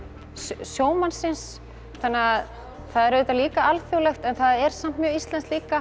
sjómannsins þannig að það er auðvitað líka alþjóðlegt en það er samt mjög íslenskt líka